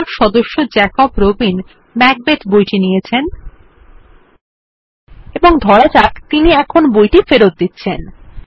ধরা যাক সদস্য জেকব রবিন ম্যাকবেথ বইটি নিয়েছেন এবং ধরা যাক তিনি এখন বইটি ফেরত দিচ্ছেন